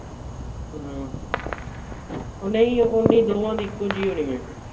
ਹੂ ਓਹੋ ਨਹੀਂ ਦੋਨਾਂ ਦੀ ਇਕੋ ਜਿਹੀ ਹੋਨਿ ਆ